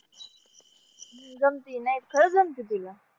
जमती नाही खरंच जमती तुला.